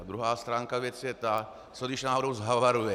A druhá stránka věci je ta, co když náhodou havaruje.